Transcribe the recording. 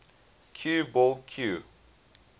cue ball cue